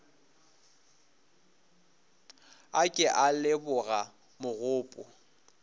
a ke a leboga mogopo